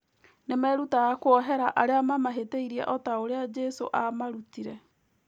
Nĩ merutaga kuohera arĩa mamahĩtĩirie o ta ũrĩa Jesũ aamarutire.